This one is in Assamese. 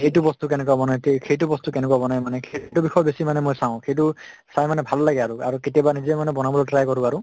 এইটো বস্তু কেনকা বনায়, তে সেইটো বস্তু কেনকে বনায় মানে সেইটো বিষয়ে বেছি মানে মই চাওঁ । সেইটো চাই মানে ভাল লাগে আৰু, আৰু কেতিয়াবা নিজে মানে বনাবলৈ try কৰো আৰু।